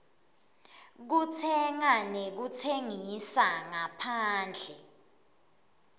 kutsenga nekutsengisa ngaphandle